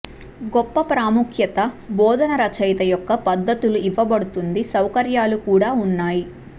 గొప్ప ప్రాముఖ్యత బోధన రచయిత యొక్క పద్ధతులు ఇవ్వబడుతుంది సౌకర్యాలు కూడా ఉన్నాయి